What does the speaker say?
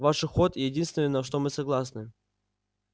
ваш уход единственное на что мы согласны